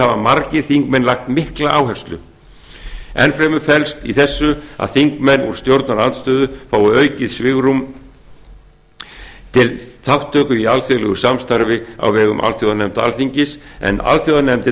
hafa margir þingmenn lagt mikla áherslu enn fremur felst í þessu að þingmenn úr stjórnarandstöðu fái aukið svigrúm til þátttöku í alþjóðlegu samstarfi á vegum alþjóðanefnda alþingis en